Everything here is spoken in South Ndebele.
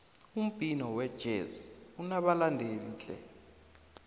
umbhino wejezi unabalandeli tle